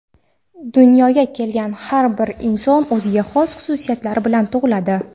Dunyoga kelgan har bir inson o‘ziga xos xususiyatlar bilan tug‘iladi.